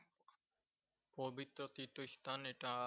পবিত্র তীর্থস্থান এটা।